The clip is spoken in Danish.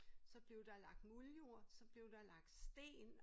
Så blev der lagt muldjord så blev der lagt sten